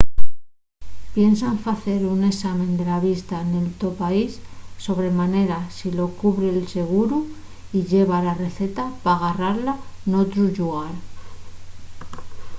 piensa en facer un esame de la vista nel to país sobre manera si lo cubre’l seguru y lleva la receta pa garrala n'otru llugar